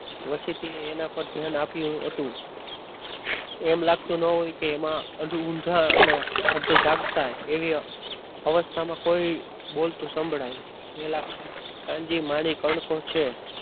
વચ્ચેથી ઓછું ધ્યાન આપ્યું હતું એમ લાગતું ન હોય કે એમાં ઊંધા અને જાગતા એવી અવસ્થામાં કોઈ બોલતું સંભળાય કાનજી માણેક કોણ કોણ છે?